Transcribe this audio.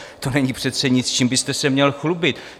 To není přece nic, s tím byste se měl chlubit.